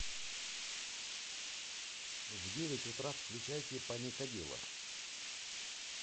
в девять утра включайте паникадило